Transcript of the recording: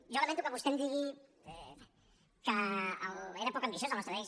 jo lamento que vostè em digui que era poc ambiciós el nostre text